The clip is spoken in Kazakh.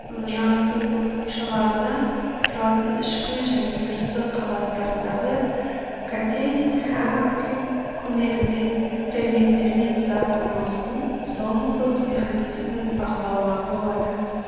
жасу шаларынан тұратын ішкі және сыртқы қабаттарындағы катенин һәм актин көмегімен ферменттермен зат алмасудың зонулдық механизмін бақылауға болады